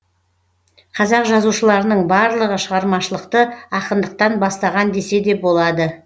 қазақ жазушыларының барлығы шығармашылықты ақындықтан бастаған десе де болады